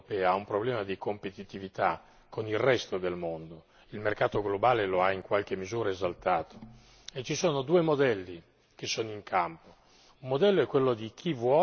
In questa parte del mondo, l'Unione europea ha un problema di competitività con il resto del mondo. Il mercato globale lo ha in qualche misura esaltato, e ci sono due modelli messi in campo.